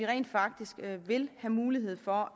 rent faktisk vil have mulighed for